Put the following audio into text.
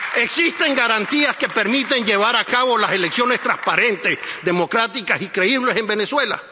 ¿Existen garantías que permiten llevar a cabo unas elecciones transparentes, democráticas y creíbles en Venezuela?